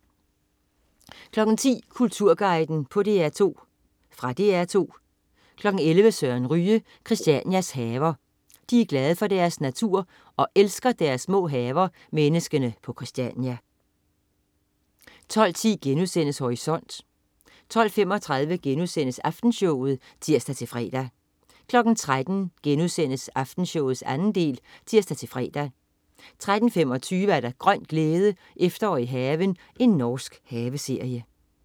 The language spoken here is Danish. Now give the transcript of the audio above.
10.00 Kulturguiden på DR2. Fra DR 2 11.00 Søren Ryge. Christianias haver. De er glade for deres natur og elsker deres små haver, menneskene på Christiania 12.10 Horisont* 12.35 Aftenshowet* (tirs-fre) 13.00 Aftenshowet 2. del* (tirs-fre) 13.25 Grøn glæde. Efterår i haven. Norsk haveserie